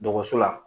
Dɔgɔso la